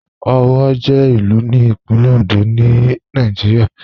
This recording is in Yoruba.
Owo jẹ ilù ní Ìpínlẹ̀ Òndó ni Nàìjírìà.